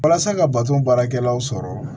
Walasa ka bato baarakɛlaw sɔrɔ